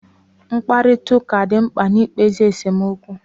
Mkparịtaụka dị mkpa na-ikpezi esomokwu